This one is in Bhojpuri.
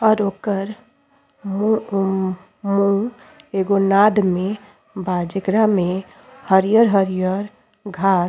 और ओकर मुंह एगो नाद में बा जेकरा में हरियर हरियर घास --